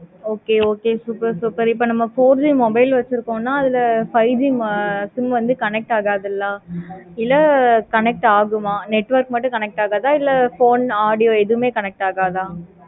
okay okay super super இப்ப நம்ம four G இருக்குன்னு அதுல five G sim வந்து connect ஆகதுல இல்லை connect ஆகுமா network மட்டும் connect ஆகுமா? இல்ல phone, audio எதுமே connect ஆகாதா?